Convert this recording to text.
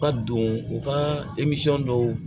U ka don u ka dɔw